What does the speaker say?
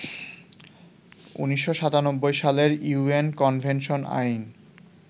১৯৯৭ সালের UN convention আইন